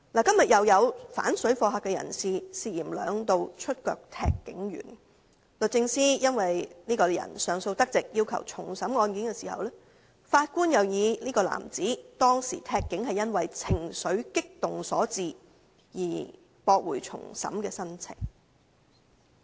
今天又有反水貨客人士涉嫌兩度腳踢警員，律政司因這人上訴得直而要求重審案件，但法官認為當時這名男子踢警是因為情緒激動所致，故此駁回重審的申請。